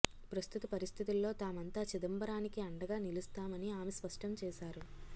ప్రస్తుత పరిస్థితుల్లో తామంతా చిదంబరానికి అండగా నిలుస్తామని ఆమె స్పష్టం చేశారు